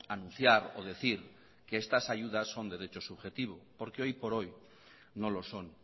anunciar o decir que estas ayudas son derechos subjetivo porque hoy por hoy no lo son